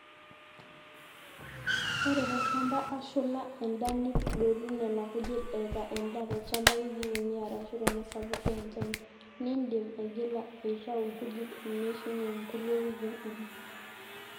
ore tolchamba oshula endaa nidotu nena kujit eeta endaa tolchamba wikii uni arashu tenaasapuk enchan niindim aigila aiitau nkujit eneishunye nkulie wikii uni